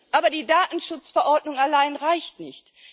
Aber die Datenschutzverordnung allein reicht nicht.